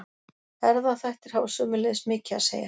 erfðaþættir hafa sömuleiðis mikið að segja